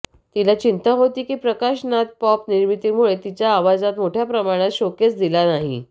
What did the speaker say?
तिला चिंता होती की प्रकाश नाद पॉप निर्मितीमुळे तिच्या आवाजात मोठ्या प्रमाणात शोकेस दिला नाही